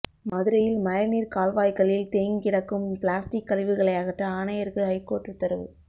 மதுரையில் மழைநீர் கால்வாய்களில் தேங்கிடக்கும் பிளாஸ்டிக் கழிவுகளை அகற்ற ஆணையருக்கு ஐகோர்ட் உத்தரவு